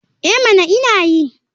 Eh mana ina yi.